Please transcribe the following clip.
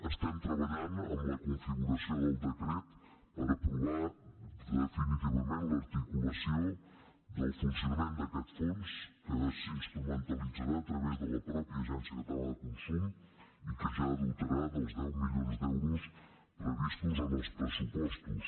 estem treballant en la configuració del decret per aprovar definitivament l’articulació del funcionament d’aquest fons que s’instrumentalitzarà a través de la mateixa agència catalana de consum i que ja dotarà dels deu milions d’euros previstos en els pressupostos